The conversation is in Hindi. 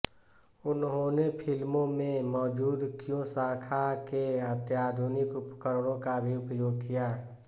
उन्होने फ़िल्मों में मौजुद क्यू शाखा के अत्याधुनिक उपकरणों का भी उपयोग किया